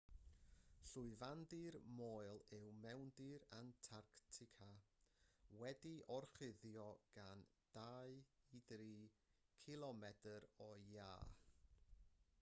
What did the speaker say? llwyfandir moel yw mewndir antarctica wedi'i orchuddio gan 2-3 km o iâ